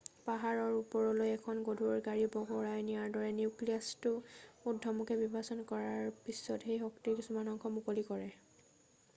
পা্হাৰৰ ওপৰলৈ এখন গধুৰ গাড়ী বগৰাই নিয়াৰ দৰে নিউক্লিয়াছটো উৰ্দ্ধমুখে বিভাজন কৰাৰ পিছত সেই শক্তিৰ কিছু অংশ মুকলি কৰে